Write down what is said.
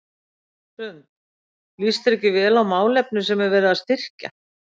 Hrund: Líst þér ekki vel á málefni sem er verið að styrkja?